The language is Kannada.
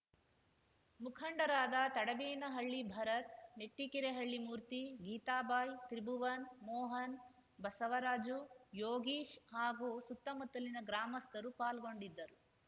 ಮುಖಂಡರಾದ ತಡೆಬೇನಹಳ್ಳಿ ಭರತ್‌ ನೆಟ್ಟಿಕೆರೆಹಳ್ಳಿ ಮೂರ್ತಿ ಗೀತಾಬಾಯಿ ತ್ರಿಭುವನ್‌ ಮೋಹನ್‌ ಬಸವರಾಜು ಯೋಗೀಶ್‌ ಹಾಗೂ ಸುತ್ತಮುತ್ತಲಿನ ಗ್ರಾಮಸ್ಥರು ಪಾಲ್ಗೊಂಡಿದ್ದರು